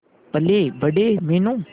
पलेबड़े Meenu